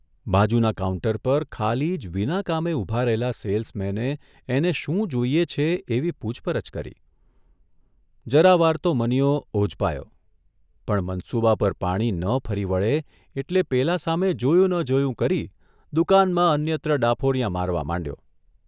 બાજુના કાઉન્ટર પર ખાલી જ વિના કામે ઊભા રહેલા સેલ્સમેને એને શું જોઇએ છે એવી પુછપરછ કરી, જરા વાર તો મનીયો ઓઝપાયો પણ મનસૂબા પર પાણી ન ફરી વળે એટલે પેલા સામે જોયું ન જોયું કરી દુકાનમાં અન્યત્ર ડાફોરિયાં મારવા માંડ્યો.